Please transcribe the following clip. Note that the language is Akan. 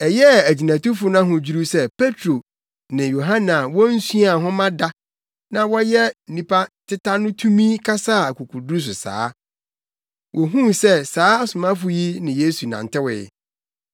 Ɛyɛɛ agyinatufo no ahodwiriw sɛ Petro ne Yohane a wonsuaa nhoma da na wɔyɛ nnipa teta no tumi kasaa akokoduru so saa. Wohuu sɛ saa asomafo yi ne Yesu nantewee.